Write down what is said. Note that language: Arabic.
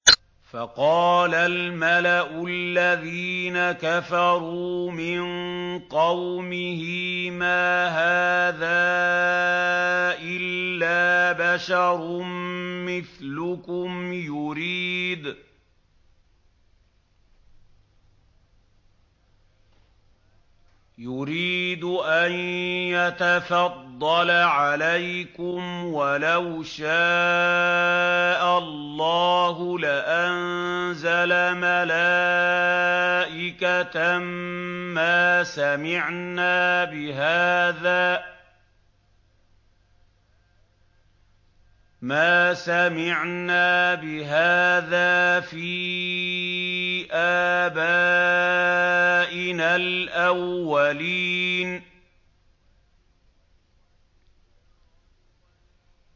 فَقَالَ الْمَلَأُ الَّذِينَ كَفَرُوا مِن قَوْمِهِ مَا هَٰذَا إِلَّا بَشَرٌ مِّثْلُكُمْ يُرِيدُ أَن يَتَفَضَّلَ عَلَيْكُمْ وَلَوْ شَاءَ اللَّهُ لَأَنزَلَ مَلَائِكَةً مَّا سَمِعْنَا بِهَٰذَا فِي آبَائِنَا الْأَوَّلِينَ